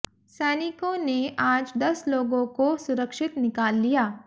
सैनिकों ने आज दस लोगों को सुरक्षित निकाल लिया